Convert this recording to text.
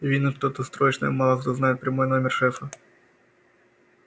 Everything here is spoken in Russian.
видно что-то срочное мало кто знает прямой номер шефа